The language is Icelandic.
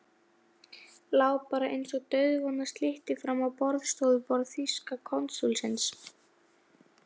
Lá bara einsog dauðvona slytti fram á borðstofuborð þýska konsúlsins.